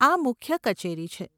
આ મુખ્ય કચેરી છે.